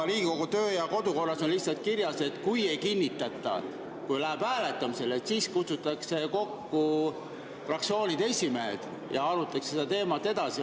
Riigikogu töö‑ ja kodukorras on lihtsalt kirjas, et kui ei kinnitata, kui läheb hääletamisele, siis kutsutakse kokku fraktsioonide esimehed ja arutatakse seda teemat edasi.